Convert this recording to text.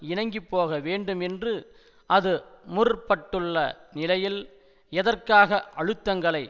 இணங்கி போக வேண்டும் என்று அது முற்பட்டுள்ள நிலையில் எதற்காக அழுத்தங்களை